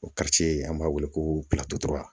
O an b'a wele ko